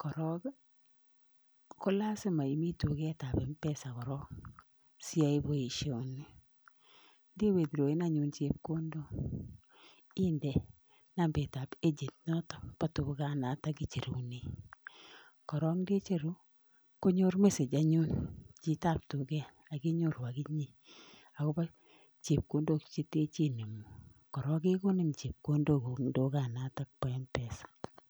korong kolasima imi tugetab mpesa siiyoe boishonii. Yekeicheru anyun chepkondook indee nambait ab echen Nebo mpesa inoton nekechuren. Korong kecheru konyor mesech anyun chitab tuget akinyooru akinye akobo chepkondook cheten chenemu. Korong kekonii chepkondook en tuganotok bo mpesa .